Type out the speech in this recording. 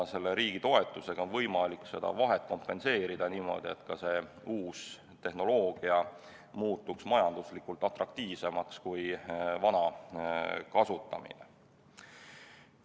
Riigi toetusega on võimalik seda vahet kompenseerida nii, et uus tehnoloogia muutuks majanduslikult atraktiivsemaks kui vana kasutamine.